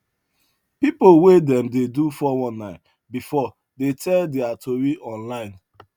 people wey dem don do four one nine before dey tell their tori online